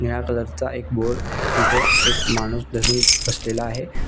निळा कलर चा एक बोर्ड तेथे एक माणुस धरुन बसलेला आहे.